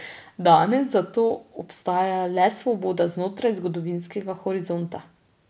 Danes zato obstaja le svoboda znotraj zgodovinskega horizonta.